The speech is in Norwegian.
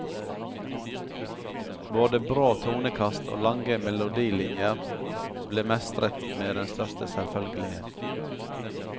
Både brå tonekast og lange melodilinjer ble mestret med den største selvfølgelighet.